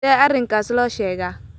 Sidee arrinkaas loo sheegaa?